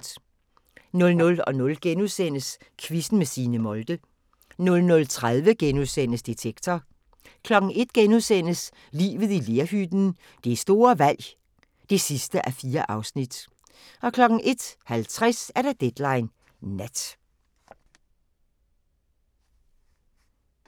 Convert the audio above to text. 00:00: Quizzen med Signe Molde * 00:30: Detektor * 01:00: Livet i lerhytten – det store valg (4:4)* 01:50: Deadline Nat